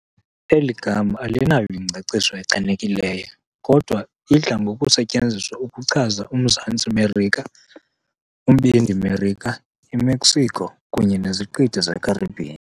Eli gama alinayo ingcaciso echanekileyo, kodwa "idla ngokusetyenziswa ukuchaza uMzantsi Merika, uMbindi Merika, iMexico kunye neziqithi zeCaribbean."